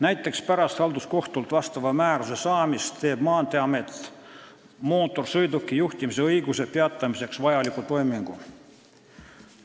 Näiteks pärast halduskohtult vastava määruse saamist teeb Maanteeamet mootorsõiduki juhtimise õiguse peatamiseks vajaliku toimingu.